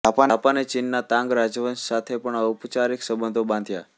જાપાને ચીનના તાંગ રાજવંશ સાથે પણ ઔપચારિક સંબંધો બાંધ્યાં